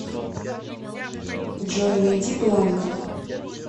джой найди бланко